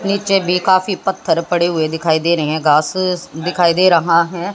नीचे भी काफी पत्थर पड़े हुए दिखाई दे रहे हैं घास स दिखाई दे रहा है।